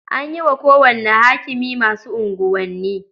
An yi wa kowane hakimi masu unguwanni.